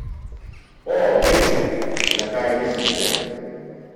O, vem, na kaj mislite!